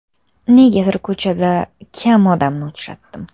Negadir ko‘chada kam odamni uchratdim.